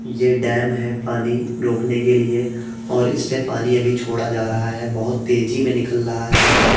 ये डैम है पानी रोकने के लिए और इससे पानी अभी छोड़ा जा रहा हैं। बहोत तेजी में निकल रहा है। बहोत --